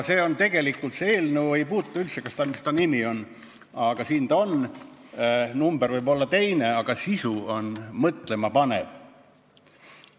See ei puutu eriti asjasse, mis eelnõu nimi on, aga selle tekst on mõtlemapanev.